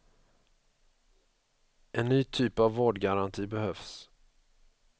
En ny typ av vårdgaranti behövs.